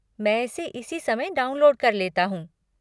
मैं इसे इसी समय डाउनलोड कर लेता हूँ।